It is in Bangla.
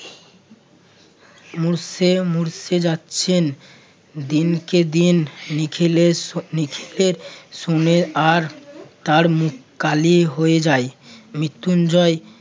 মরতে মরতে যাচ্ছেন। দিনকে দিন নিখিলের স~ নিখিলের শুনে আর তার মুখ কালি হয়ে যায়। মৃত্যুঞ্জয়